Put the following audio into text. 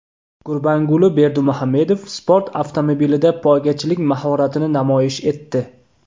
Gurbanguli Berdimuhamedov sport avtomobilida poygachilik mahoratini namoyish etdi .